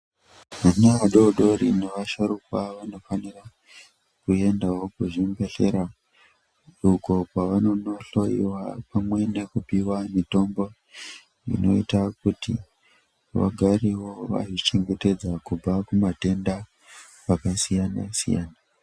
Ana adodori ne vasharukwa vanofanira kuendawo ku zvibhedhlera uko kwavanono hloyiwa pamwe neku piwa mutombo inoita kuti vagarewo vakazvi chengetedza kubva ku matenda aka siyana siyana.